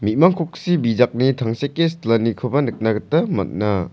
me·mang koksi bijakni tangseke silanikoba nikna gita man·a.